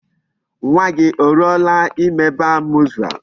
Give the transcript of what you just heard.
Nwa gi o ruola ime Bar mitzvah?